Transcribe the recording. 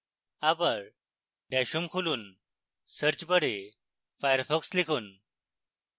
bar dash home খুলুন search bar firefox লিখুন